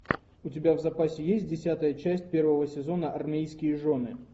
у тебя в запасе есть десятая часть первого сезона армейские жены